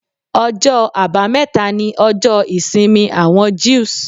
Ọjọ́ àbámẹ́ta ní ọjọ́ ìsinmi àwọn Jews.